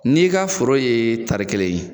N'i ka foro ye taari kɛlan ye